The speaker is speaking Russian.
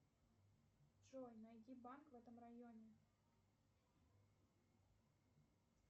джой найди банк в этом районе